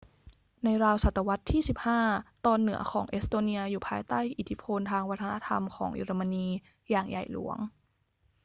ในราวศตวรรษที่ 15 ตอนเหนือของเอสโตเนียอยู่ภายใต้อิทธิพลทางวัฒนธรรมของเยอรมนีอย่างใหญ่หลวง